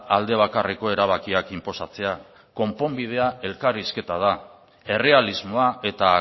alde bakarreko erabakiak inposatzea konponbidea elkarrizketa da errealismoa eta